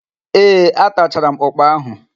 Ee, atachara m ụ́kpà áhụ̀.